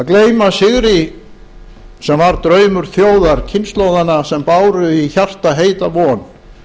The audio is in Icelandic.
að gleyma sigri sem var draumur þjóðar kynslóðanna sem báru í hjarta heita von